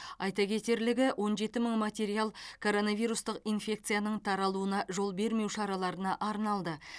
айта кетерлігі он жеті мың материал коронавирустық инфекцияның таралуына жол бермеу шараларына арналды